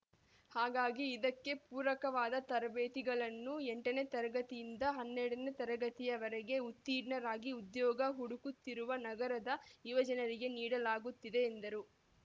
ಹಾಗಾಗಿ ಇದಕ್ಕೆ ಪೂರಕವಾದ ತರಬೇತಿಗಳನ್ನು ಎಂಟನೇ ತರಗತಿಯಿಂದ ಹನ್ನೆರಡನೇ ತರಗತಿಯವರೆಗೆ ಉತ್ತೀರ್ಣರಾಗಿ ಉದ್ಯೋಗ ಹುಡುಕುತ್ತಿರುವ ನಗರದ ಯುವಜನರಿಗೆ ನೀಡಲಾಗುತ್ತಿದೆ ಎಂದರು